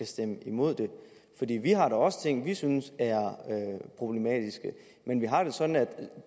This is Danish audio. stemme imod det fordi vi har da også ting som vi synes er problematiske men vi har det sådan at